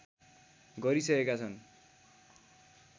गरिसकेका छन्